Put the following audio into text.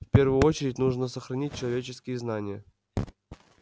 в первую очередь нужно сохранить человеческие знания